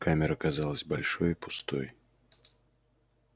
камера казалась большой и пустой